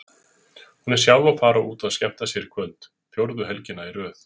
Hún er sjálf að fara út að skemmta sér í kvöld, fjórðu helgina í röð.